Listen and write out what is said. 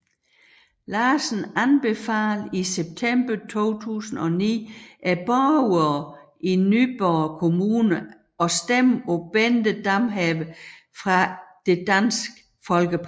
Larsen anbefalede i september 2009 borgere i Nyborg Kommune at stemme på Bente Damhave fra Dansk Folkeparti